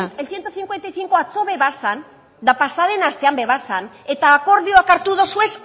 el ciento cincuenta y cinco atzo bazen eta pasa den astean ere zen eta akordioak hartu duzue